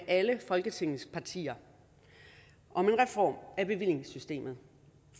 alle folketingets partier om en reform af bevillingssystemet